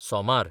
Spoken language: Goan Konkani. सोमार